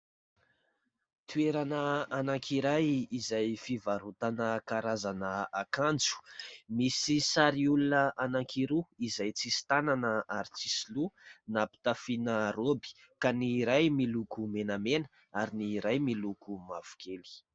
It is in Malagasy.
Toerana anankiray izay fivarotana karazana akanjo misy sary olona anankiroa izay tsisy tanana ary tsisy loha nampitafiana roby ka ny iray miloko menamena ary ny iray miloko mavokely.